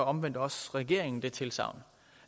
omvendt også regeringen det tilsagn